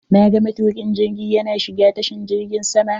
Na ga matukin jirgiin yana shiga cikin tashar jirgin sama.